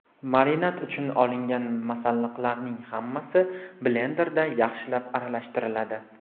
Marinad uchun olingan masalliqlarning hammasi blenderda yaxshilab aralashtiriladi.